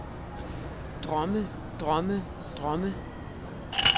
drømme drømme drømme